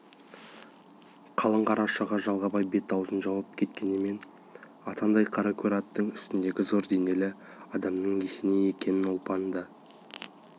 қалың қара шұға жалбағай бет-аузын жауып кеткенімен атандай қара көр аттың үстіндегі зор денелі адамның есеней екенін ұлпан да